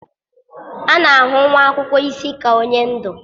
A na-ahụ nwa akwụkwọ isi ka onye ndu.